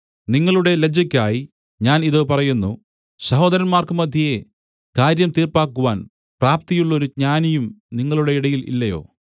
നിങ്ങളുടെ ലജ്ജയ്ക്കായി ഞാൻ ഇത് പറയുന്നു സഹോദരന്മാർക്കു മദ്ധ്യേ കാര്യം തീർപ്പാക്കുവാൻ പ്രാപ്തിയുള്ളൊരു ജ്ഞാനിയും നിങ്ങളുടെ ഇടയിൽ ഇല്ലയോ